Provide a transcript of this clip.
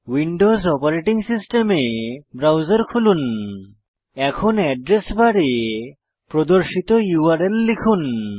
Windows operating সিস্টেমে browser খুলুন এখন এড্রেস বারে প্রদর্শিত ইউআরএল লিখুন